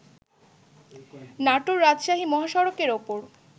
নাটোর-রাজশাহী মহাসড়কের ওপর